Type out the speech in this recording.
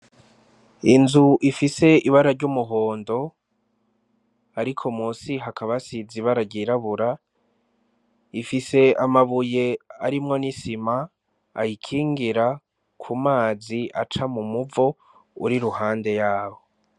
Inzu ifise ibara ry'umuhondo ariko munsi bakaba hasize ibara ryirabura rifise amabuye arimwo n'isima ayikingira kumazi aca mumuvo uri iruhande yawo.